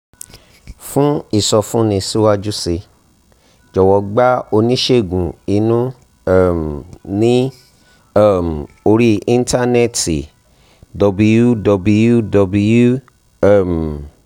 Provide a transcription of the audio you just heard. fún ìsọfúnni síwájú sí i jọ̀wọ́ gba oníṣègùn inú um ní um orí íńtánẹ́ẹ̀tì https://www um